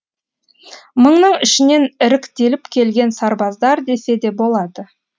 мыңның ішінен іріктеліп келген сарбаздар десе де болады